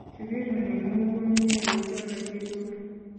Kisikiri ning'uu kumnye kuchomei chitugul.